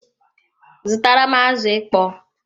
Zutaram azụ ịkpọ!